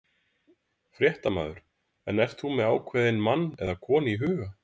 Fréttamaður: En ert þú með ákveðinn mann eða konu í huga?